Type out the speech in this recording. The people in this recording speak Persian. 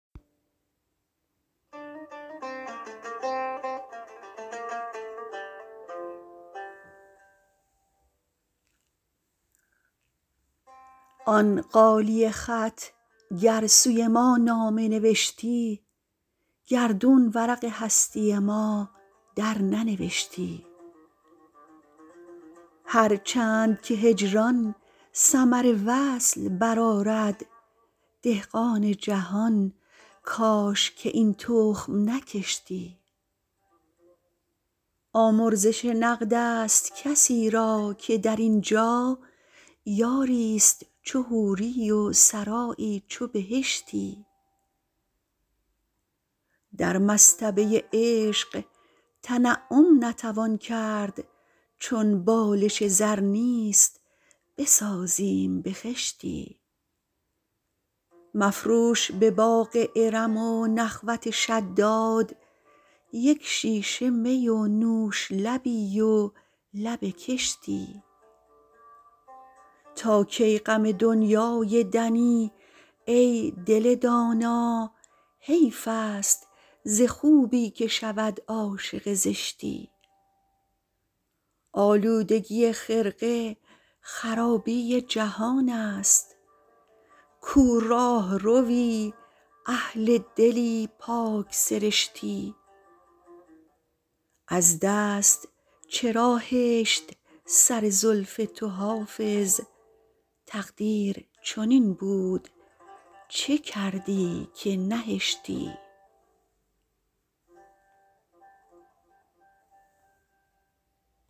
آن غالیه خط گر سوی ما نامه نوشتی گردون ورق هستی ما درننوشتی هر چند که هجران ثمر وصل برآرد دهقان جهان کاش که این تخم نکشتی آمرزش نقد است کسی را که در این جا یاری ست چو حوری و سرایی چو بهشتی در مصطبه عشق تنعم نتوان کرد چون بالش زر نیست بسازیم به خشتی مفروش به باغ ارم و نخوت شداد یک شیشه می و نوش لبی و لب کشتی تا کی غم دنیای دنی ای دل دانا حیف است ز خوبی که شود عاشق زشتی آلودگی خرقه خرابی جهان است کو راهروی اهل دلی پاک سرشتی از دست چرا هشت سر زلف تو حافظ تقدیر چنین بود چه کردی که نهشتی